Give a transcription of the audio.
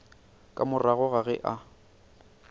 ka morago ga ge a